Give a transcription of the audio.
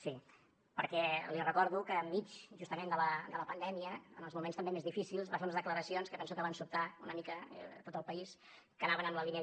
sí perquè li recordo que enmig justament de la pandèmia en els moments també més difícils va fer unes declaracions que penso que van sobtar una mica tot el país que anaven en la línia